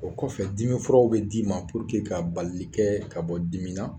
O kɔfɛ dimifuraw bɛ d'i ma puruke ka balili kɛ ka bɔ dimi ma.